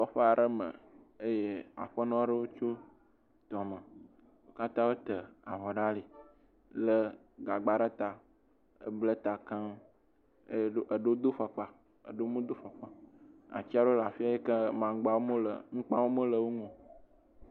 Kɔƒe aɖe me eye aƒenɔ ɖewo tso tɔme. Wo kata wo ta avɔ ɖe ali. Wo kata wo le gagba ɖe ta eble ta keŋ eh… wo do vɔkpa eɖewo hã me do fɔkpa o. Ati aɖewo le afi ya ke, mamgba, ŋugba me le wo ŋu o.